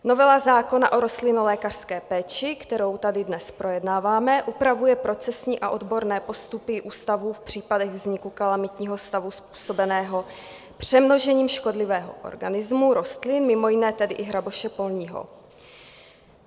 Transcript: Novela zákona o rostlinolékařské péči, kterou tady dnes projednáváme, upravuje procesní a odborné postupy ústavu v případech vzniku kalamitního stavu způsobeného přemnožením škodlivého organismu rostlin, mimo jiné tedy i hraboše polního.